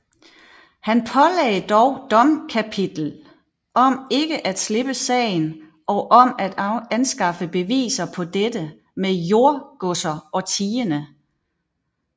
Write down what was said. Han pålagde dog domkapitlet om ikke at slippe sagen og om af anskaffe beviser på dette med jordgodser og tiende